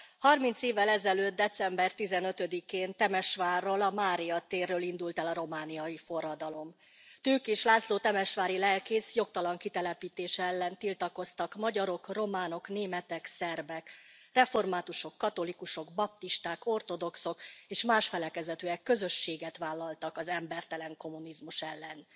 30 évvel ezelőtt, december 15 én Temesvárról, a Mária térről indult el a romániai forradalom. Tőkés László temesvári lelkész jogtalan kitelepítése ellen tiltakoztak, magyarok, románok, németek, szerbek, reformátusok, katolikusok, baptisták, ortodoxok és más felekezetűek közösséget vállaltak az embertelen kommunizmus ellen.